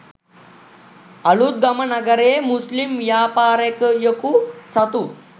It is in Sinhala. අලුත්ගම නගරයේ මුස්ලිම් ව්‍යාපාරිකයකු සතු